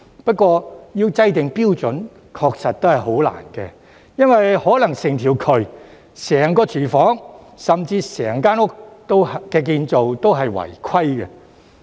不過，要制訂標準確實很難，因為有可能整條渠、整個廚房甚至整間屋的建造都是違規的。